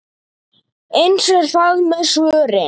Eins er það með svörin.